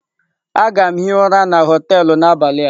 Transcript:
Aga m hie ụra na họtelu n'abalị a.